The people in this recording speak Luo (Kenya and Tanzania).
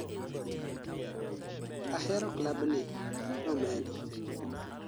"ahero klabni",nomedo